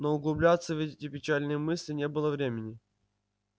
но углубляться в эти печальные мысли не было времени